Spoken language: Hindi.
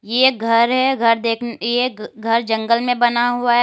ये घर है घर दे ये एक घर जंगल में बना हुआ है।